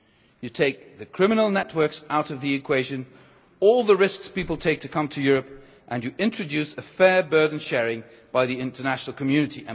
You take the criminal networks out of the equation with all the risks that people take to come to Europe and you introduce fair burden sharing by the international community.